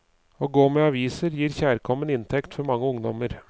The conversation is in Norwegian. Å gå med aviser gir kjærkommen inntekt for mange ungdommer.